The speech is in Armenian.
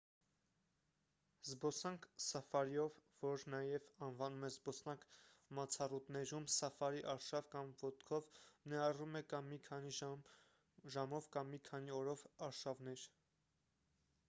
զբոսանք սաֆարիով որ նաև անվանում են «զբոսանք մացառուտներում» «սաֆարի արշավ» կամ «ոտքով» ներառում է կա՛մ մի քանի ժամով կա՛մ մի քանի օրով արշավներ: